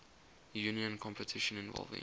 union competition involving